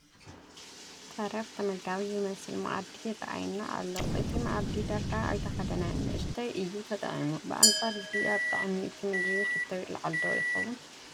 ተረፍ ተመጋቢ ዝመስል መኣዲ ይርአየና ኣሎ፡፡ እቲ መኣዲ ዳርጋ ኣይተነኽአን፡፡ ንኡሽተይ እዩ ተጣዒሙ፡፡ ብኣንፃር እዚ ኣብ ጣዕሚ እቲ ምግቢ ሕቶ ይልዓል ዶ ይኸውን?